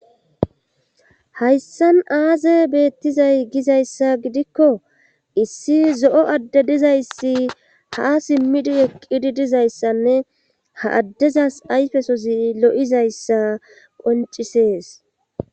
hayssan aaze beettizay gizayssa gidikko issi zo7o adde dizayssi ha simmidi eqqidi dizayssanne ha addezas ayfesozi lo7izayssa qoncisees